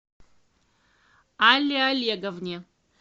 алле олеговне